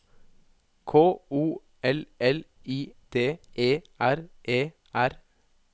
K O L L I D E R E R